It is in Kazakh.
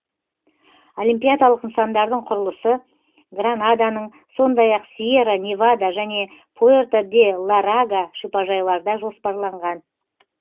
олимпиадалық нысандардың құрылысы гранаданың сондай ақ сьерра невада және пуэрто де ла рага шипажайларда жоспарланған